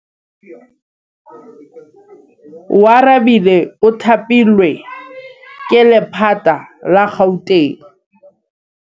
Oarabile o thapilwe ke lephata la Gauteng.